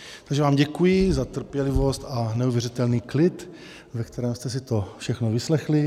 Takže vám děkuji za trpělivost a neuvěřitelný klid, ve kterém jste si to všechno vyslechli.